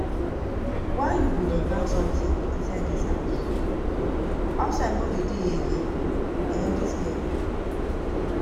Why you go dey burn something inside dis house? Outside no dey dey again eh dis girl?